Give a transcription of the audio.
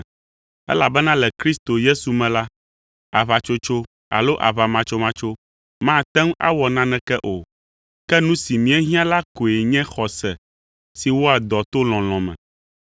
Elabena le Kristo Yesu me la, aʋatsotso alo aʋamatsomatso mate ŋu awɔ naneke o. Ke nu si míehiã la koe nye xɔse si wɔa dɔ to lɔlɔ̃ me.